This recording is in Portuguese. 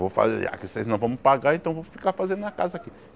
Vou fazer a que vocês não vão me pagar, então vou ficar fazendo minha casa aqui.